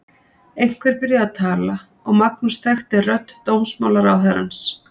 Einhver byrjaði að tala og Magnús þekkti rödd dómsmálaráðherrans.